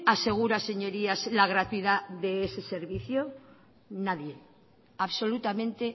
asegura señorías la gratuidad de ese servicio nadie absolutamente